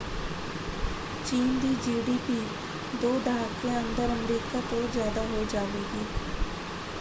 ਚੀਨ ਦੀ ਜੀਡੀਪੀ ਦੋ ਦਹਾਕਿਆਂ ਅੰਦਰ ਅਮਰੀਕਾ ਤੋਂ ਜ਼ਿਆਦਾ ਹੋ ਜਾਵੇਗੀ।